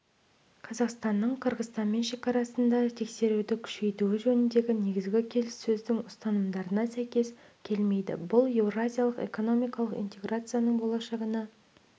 қазақстанның қырғызстанмен шекарасында тексеруді күшейтуі жөніндегі негізгі келіссөздің ұстанымдарына сәйкес келмейді бұл еуразиялық экономикалық интеграцияның болашағына